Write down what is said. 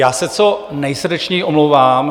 Já se co nejsrdečněji omlouvám.